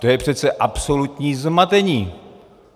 To je přece absolutní zmatení.